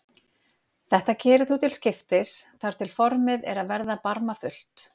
Þetta gerir þú til skiptis þar til formið er að verða barmafullt.